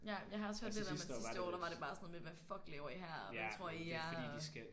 Ja jamen jeg har også hørt lidt om at sidste år der var det bare sådan noget med hvad fuck laver I her? Og hvem tror I at I er? Og